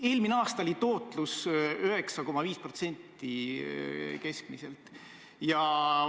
Eelmine aasta oli keskmine tootlus 9,5%.